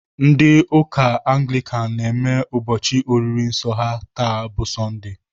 Ndị ụka Anglikan na-eme ụbọchị oriri nsọ ha taa bụ sondee.